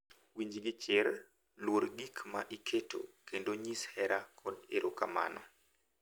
Winj gi chir, luor gik ma iketo, kendo nyis hera kod erokamano,